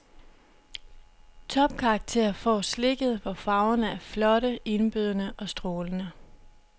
Topkarakter får slikket, hvor farverne er flotte, indbydende og strålende.